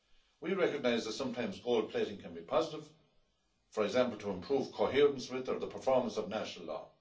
We recognise that sometimes gold plating can be positive, for example, to improve coherence with or the performance of national law.